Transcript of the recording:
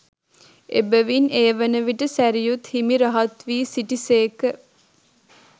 එබැවින් ඒ වනවිට සැරියුත් හිමි රහත්වී සිටිසේක